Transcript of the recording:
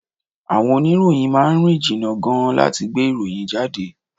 Àwọn oníròyìn máà ń rìn jìnnà gan-an láti gbé ìròyìn jáde.